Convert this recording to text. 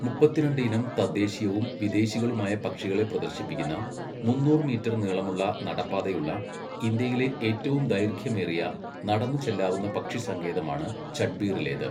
മുപ്പത്തിരണ്ട് ഇനം തദ്ദേശീയവും വിദേശികളുമായ പക്ഷികളെ പ്രദർശിപ്പിക്കുന്ന, മുന്നൂറ് മീറ്റർ നീളമുള്ള നടപ്പാതയുള്ള, ഇന്ത്യയിലെ ഏറ്റവും ദൈർഘ്യമേറിയ നടന്നു ചെല്ലാവുന്ന പക്ഷിസങ്കേതമാണ് ചട്ട്ബീറിലേത്.